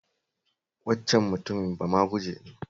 Waccan mutumin bamaguje ne